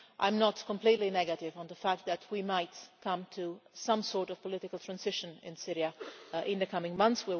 I am not completely negative about the fact that we might come to some sort of political transition in Syria in the coming months.